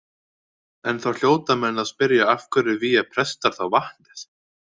En þá hljóta menn að spyrja af hverju vígja prestar þá vatnið.